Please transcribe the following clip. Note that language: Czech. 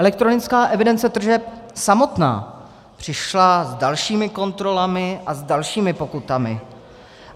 Elektronická evidence tržeb samotná přišla s dalšími kontrolami a s dalšími pokutami.